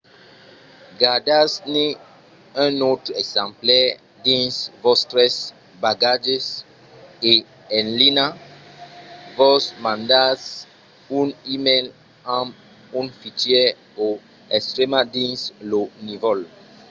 gardatz-ne un autre exemplar dins vòstres bagatges e en linha vos mandatz un e-mail amb un fichièr o estremat dins lo nívol"